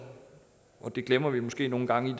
det glemmer vi måske nogle gange